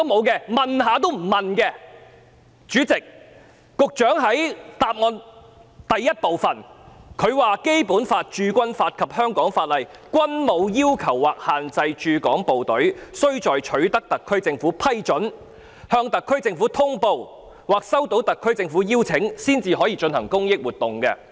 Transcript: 局長在主體答覆第一部分表示："《基本法》、《駐軍法》及香港法例均無要求或限制駐港部隊須在取得特區政府批准、向特區政府通報或收到特區政府的邀請後，才可進行公益活動"。